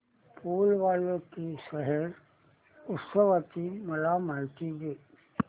फूल वालों की सैर उत्सवाची मला माहिती दे